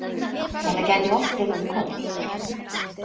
Þetta gæti oltið um koll.